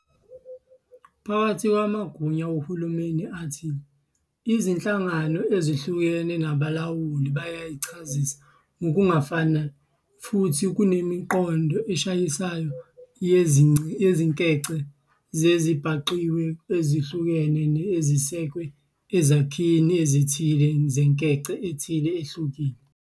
Phakathi kwamagunya wohulumeni athile, izinhlangano ezihlukene nabalawuli bayichasisa ngokungafani futhi kunemiqondo eshayisanayo yezinkece zezezibhangqiwe ezihlukene ezisekwe ezakhini ezithile zenkece ethile ehlukile.